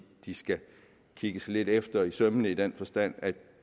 de skal kigges efter i sømmene i den forstand